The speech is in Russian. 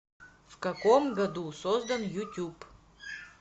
в каком году создан ютуб